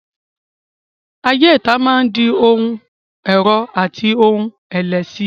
Ayé ìta máa di ohun ẹ̀rọ̀ àti ohun ẹ̀lẹ̀ síi.